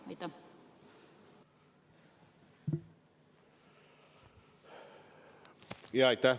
Aitäh!